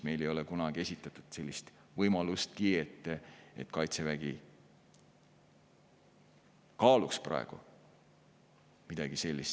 Meile ei ole kunagi esitatud sellist võimalustki, et Kaitsevägi kaaluks praegu midagi sellist.